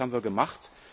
Das haben wir gemacht.